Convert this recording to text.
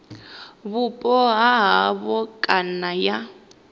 vhupo ha havho kana ya